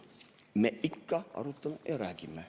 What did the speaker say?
Me ikka arutame ja räägime.